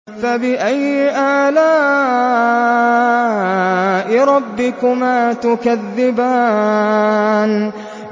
فَبِأَيِّ آلَاءِ رَبِّكُمَا تُكَذِّبَانِ